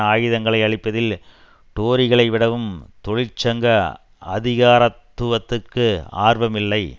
ஆயுதங்களை அளிப்பதில் டோரிகளை விடவும் தொழிற்சங்க அதிகாரத்துவத்திற்கு ஆர்வம் இல்லை